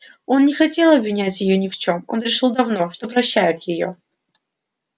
он не хотел обвинять её ни в чем он решил давно что прощает её